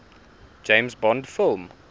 james bond film